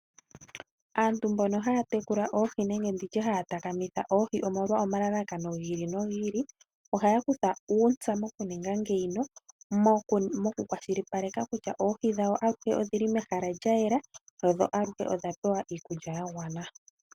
Aantu mbono haya tekula oohi nenge nditye haya takamitha oohi omolwa omalalakano gi ili nogi ili, ohaya kutha uuntsa mokuninga ngeyika, moku kwashilipaleka kutya oohi dhawo aluhe odhili mehala lya yela, dho aluhe odha pewa iikulya ya gwana.